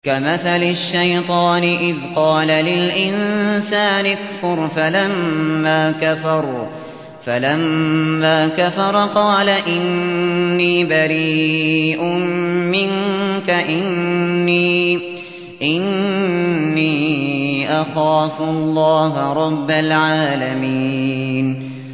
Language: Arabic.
كَمَثَلِ الشَّيْطَانِ إِذْ قَالَ لِلْإِنسَانِ اكْفُرْ فَلَمَّا كَفَرَ قَالَ إِنِّي بَرِيءٌ مِّنكَ إِنِّي أَخَافُ اللَّهَ رَبَّ الْعَالَمِينَ